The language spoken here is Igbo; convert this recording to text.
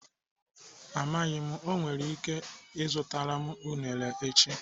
Amaghị m, o nwere ike ịzụtara m unere echi.